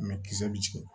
kisɛ bɛ jigin